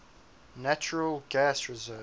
natural gas reserves